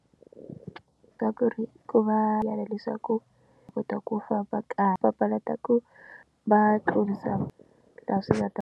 Ka ku ri ku va lava leswaku hi kota ku famba kahle papalata ku va tlurisa laha swi nga ta.